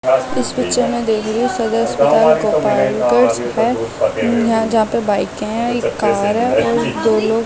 इस पिक्चर मे एख रही हु जहा पे बाइक है एक कार हैदो लोग --